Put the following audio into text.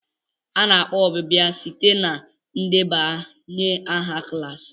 A na-akpọ ọbịbịa site na ndebanye aha klaasị.